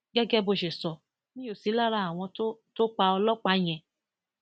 gẹgẹ bó ṣe sọ mí ó sí lára àwọn tó tó pa ọlọpàá yẹn